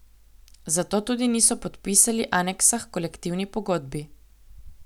Zato tudi niso podpisali aneksa h kolektivni pogodbi.